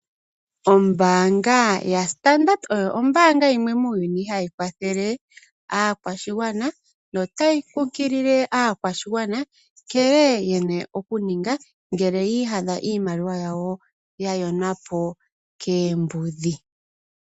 Ombaanga yaStandard oyo ombaanga yimwe muuyuni hayi kwathele aakwashigwana notayi kunkilile aakwashigwana nkene yena okuninga ngele yi iyadha iimaliwa yawo ya yonwa po koombudhi.